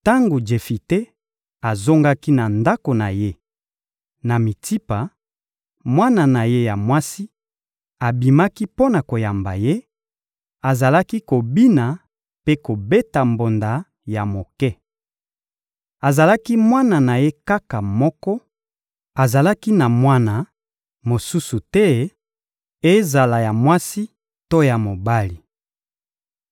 Tango Jefite azongaki na ndako na ye, na Mitsipa, mwana na ye ya mwasi abimaki mpo na koyamba ye; azalaki kobina mpe kobeta mbonda ya moke. Azalaki mwana na ye kaka moko: azalaki na mwana mosusu te, ezala ya mwasi to ya mobali.